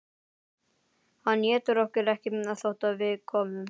Hann étur okkur ekki þótt við komum.